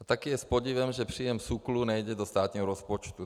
A taky je s podivem, že příjem SÚKLu nejde do státního rozpočtu.